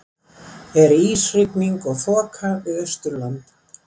er ísrigning og þoka við austurland